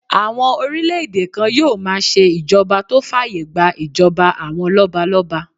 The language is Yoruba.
Àwọn orílẹ̀-èdè kan yóò máa ṣe ìṣèjọba tó fàyè gbà ìjọba àwọn lọ́balọ́ba